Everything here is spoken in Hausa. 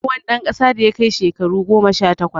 Duk wani dan kasa da yakai shakaru goma sha takwas